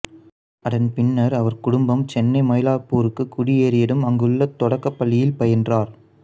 அதன் பின்னர் அவர் குடும்பம் சென்னை மைலாப்பூருக்கு குடியேறியதும் அங்குள்ள தொடக்கப்பள்ளியில் பயின்றார்